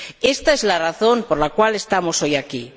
Ésta es la razón por la cual estamos hoy aquí.